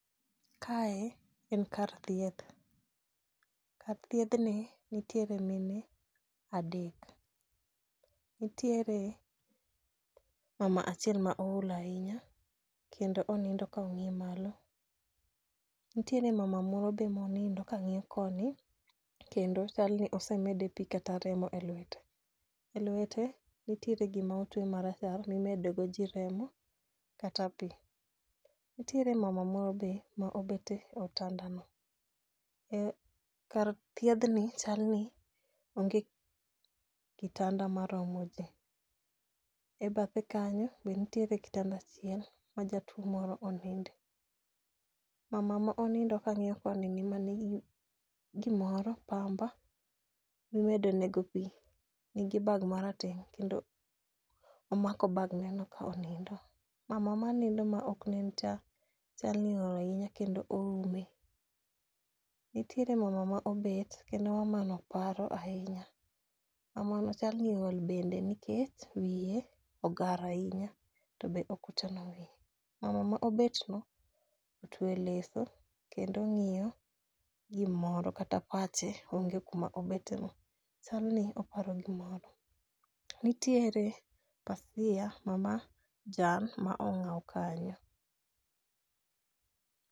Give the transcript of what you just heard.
Kae en kar thieth, kar thiedhni nitiere mine adek, nitiere mama achiel ma ool ahinya, kendo onindo ka ong'i malo, nitiere mama moro be monindo kang'iyo koni kendo chal ni osemede pi kata remo e lwete. E lwete, nitiere gima otwe marachar mimedo godo ji remo kata pi. Nitiere mama moro be ma obete otandano. Kar thiedhni chal ni onge kitanda maromo ji. E bathe kanyo be nitiere kitanda achiel ma jatuwo moro oninde. Mama ma onindo ka ng'iyo konini manigi gimoro, pamba imedo nego pi, nigi bag marateng' kendo omako bag ne no ka onindo. Mama ma nindo ma ok nencha, chal ni ool ahinya kendo oume, nitiere mama ma obet kendo mamano paro ahinya. Mamano chal ni ool bende nikech wiye ogar ahinya to be ok ochano wiye. Mama ma obet no, otwe leso kendo ong'iyo gimoro kata pache onge kuma obeteno. Chalni oparo gimoro. Nitiere pasia ma rachar ma ong'aw kanyo.